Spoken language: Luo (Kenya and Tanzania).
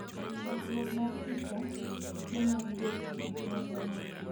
chakruok mar picha, piche mag getty, nonro mar picha